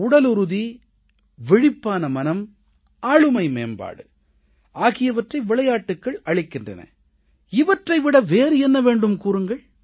உடலுறுதி விழிப்பான மனம் ஆளுமை மேம்பாடு ஆகியவற்றை விளையாட்டுகள் அளிக்கின்றன இவற்றை விட வேறு என்ன வேண்டும் கூறுங்கள்